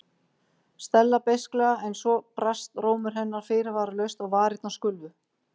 Stella beisklega en svo brast rómur hennar fyrirvaralaust og varirnar skulfu.